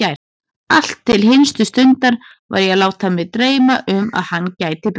Allt til hinstu stundar var ég að láta mig dreyma um að hann gæti breyst.